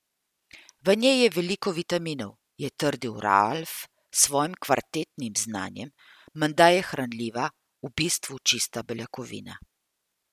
V njej je veliko vitaminov, je trdil Ralf s svojim kvartetnim znanjem, menda je hranljiva, v bistvu čista beljakovina.